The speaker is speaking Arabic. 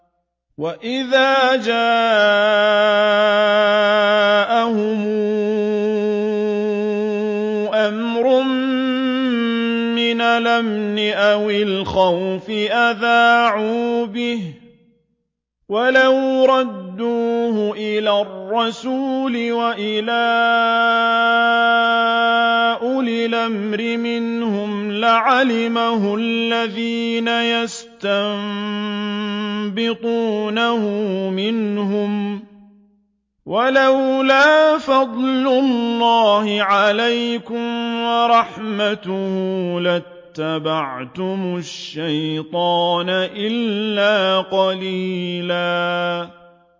وَإِذَا جَاءَهُمْ أَمْرٌ مِّنَ الْأَمْنِ أَوِ الْخَوْفِ أَذَاعُوا بِهِ ۖ وَلَوْ رَدُّوهُ إِلَى الرَّسُولِ وَإِلَىٰ أُولِي الْأَمْرِ مِنْهُمْ لَعَلِمَهُ الَّذِينَ يَسْتَنبِطُونَهُ مِنْهُمْ ۗ وَلَوْلَا فَضْلُ اللَّهِ عَلَيْكُمْ وَرَحْمَتُهُ لَاتَّبَعْتُمُ الشَّيْطَانَ إِلَّا قَلِيلًا